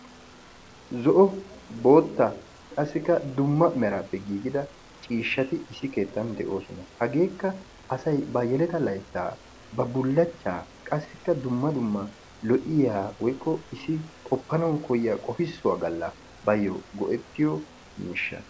Zo"o, boottaa qassikka dumma meraappe giiggida miishshati issi keettaan de'oosona. Hageekka asay ba yelata layttaa, woykko ba bullaachchaa qassikka dumma dumma lo'iya woykko issi qoppanawu koyiya qoppisuwa galla bayo go'ettiyo miishshaa.